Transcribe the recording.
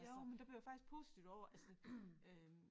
Jo men der blev jeg faktisk positivt over altså øh